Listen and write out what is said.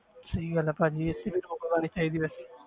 ਸਹੀ ਗੱਲ ਆ ਭਾਜੀ ਇਸ ਤੇ ਵੀ ਰੋਕ ਲਗਾਉਣੀ ਚਾਹੀਦੀ ਵੈਸੇ।